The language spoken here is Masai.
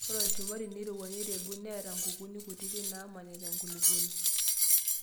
Ore olchumati neirowua neirebuk neata nkukuni kutiti naamanita enkulupuoni.